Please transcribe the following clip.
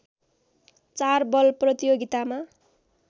चार बल प्रतियोगितामा